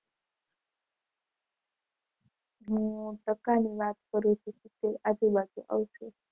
હું ટકાની વાત કરું છું. કે આજુબાજુ આવશે.